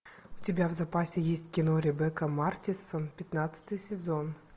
у тебя в запасе есть кино ребекка мартинссон пятнадцатый сезон